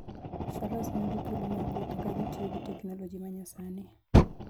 Faras miyo ji thuolo mar wuotho ka gitiyo gi teknoloji ma nyasani.